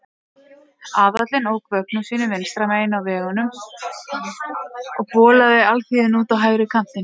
Aðallinn ók vögnum sínum vinstra megin á vegunum og bolaði alþýðunni út á hægri kantinn.